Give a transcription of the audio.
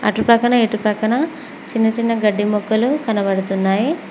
అటుప్రక్కన ఇటుప్రక్కన చిన్న చిన్న గడ్డి మొక్కలు కనబడుతున్నాయ్.